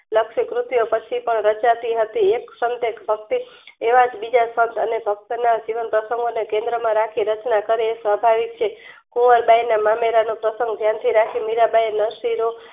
લક્ષી કૃત્યો પછી પણ રચાતી હતી એક સનટેક ભક્તિ એવાજ બીજા સન્ત અને ભક્તના જીવન પ્રશંગો અને કેન્દ્રના રાખી રચના કરે એ સ્વભાવિક છે. કુંવર બાઈના મામેરાનું પ્રસન્ગ ધ્યાનથી રાખી મીરાંબાઈએ નરશીનું